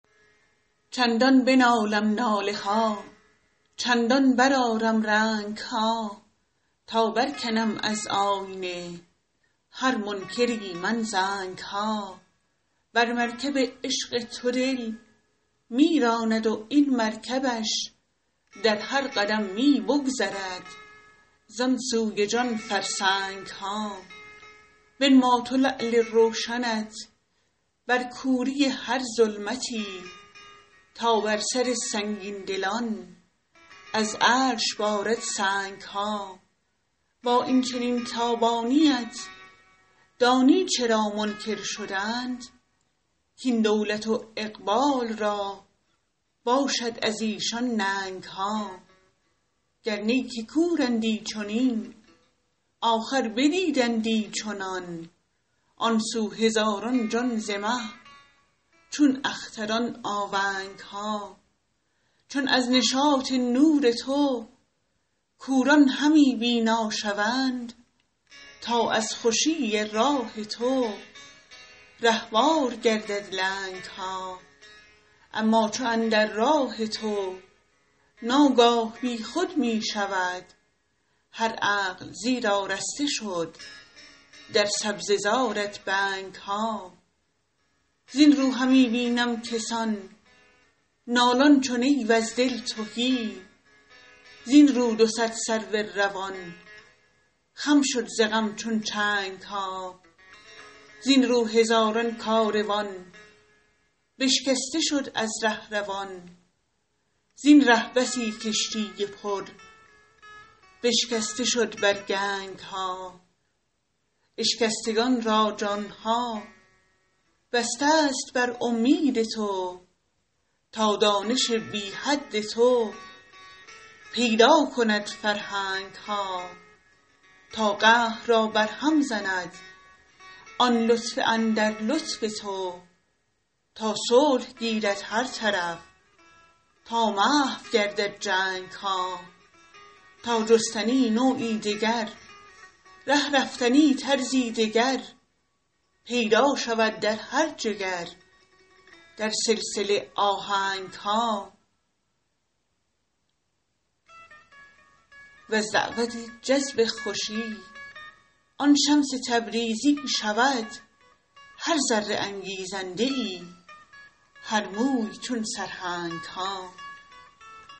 چندان بنالم ناله ها چندان برآرم رنگ ها تا برکنم از آینه هر منکری من زنگ ها بر مرکب عشق تو دل می راند و این مرکبش در هر قدم می بگذرد زان سوی جان فرسنگ ها بنما تو لعل روشنت بر کوری هر ظلمتی تا بر سر سنگین دلان از عرش بارد سنگ ها با این چنین تابانی ات دانی چرا منکر شدند کاین دولت و اقبال را باشد از ایشان ننگ ها گر نی که کورندی چنین آخر بدیدندی چنان آن سو هزاران جان ز مه چون اختران آونگ ها چون از نشاط نور تو کوران همی بینا شوند تا از خوشی راه تو رهوار گردد لنگ ها اما چو اندر راه تو ناگاه بی خود می شود هر عقل زیرا رسته شد در سبزه زارت بنگ ها زین رو همی بینم کسان نالان چو نی وز دل تهی زین رو دو صد سرو روان خم شد ز غم چون چنگ ها زین رو هزاران کاروان بشکسته شد از ره روان زین ره بسی کشتی پر بشکسته شد بر گنگ ها اشکستگان را جان ها بسته ست بر اومید تو تا دانش بی حد تو پیدا کند فرهنگ ها تا قهر را برهم زند آن لطف اندر لطف تو تا صلح گیرد هر طرف تا محو گردد جنگ ها تا جستنی نوعی دگر ره رفتنی طرزی دگر پیدا شود در هر جگر در سلسله آهنگ ها وز دعوت جذب خوشی آن شمس تبریزی شود هر ذره انگیزنده ای هر موی چون سرهنگ ها